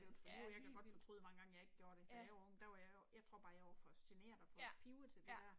Ja helt vildt. Ja. Ja, ja